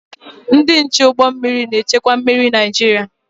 Ndị nche ụgbọ mmiri na-echekwa mmiri Naịjirịa.